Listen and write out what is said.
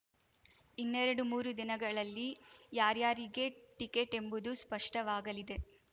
ಇನ್ನೆರಡು ಮೂರು ದಿನಗಳಲ್ಲಿ ಯಾರ್ಯಾರಿಗೆ ಟಿಕೆಟ್ ಎಂಬುದು ಸ್ಪಷ್ಟವಾಗಲಿದೆ